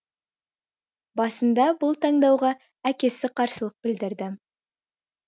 басында бұл таңдауға әкесі қарсылық білдірді